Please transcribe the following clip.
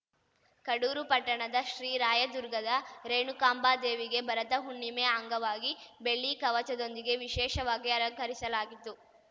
ಕಡೂರು ಪಟ್ಟಣದ ಶ್ರೀ ರಾಯದುರ್ಗದ ರೇಣುಕಾಂಬದೇವಿಗೆ ಭರತ ಹುಣ್ಣಿಮೆ ಅಂಗವಾಗಿ ಬೆಳ್ಳಿ ಕವಚದೊಂದಿಗೆ ವಿಶೇಷವಾಗಿ ಅಲಂಕರಿಸಲಾಗಿತ್ತು